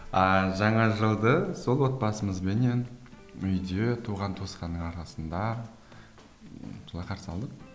ааа жаңа жылды сол отбасымызбенен үйде туған туысқанның арасында былай қарсы алдық